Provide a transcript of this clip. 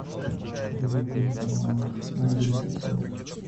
перевод денег онлайн на мобильный телефон